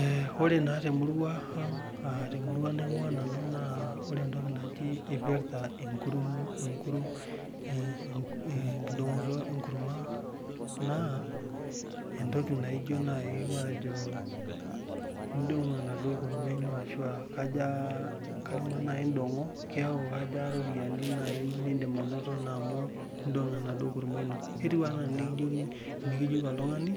Ee ore na temurua naingua nanu na endungoto enkurma na entoki naijo nai matejo itudungo enaduo kurma neaku kaja kama na indongo kaja ropiyani nindim ainoto amu indongo enaduo kurma ino kwtiu anaa enikijoki oltungani